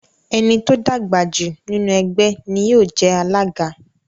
Ẹni tó dàgbàjù nínu ẹgbé ní yío je alága